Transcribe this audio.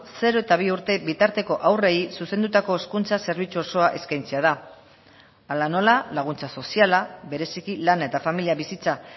zero eta bi urte bitarteko haurrei zuzendutako hezkuntza zerbitzu osoa eskaintzea da hala nola laguntza soziala bereziki lana eta familia bizitza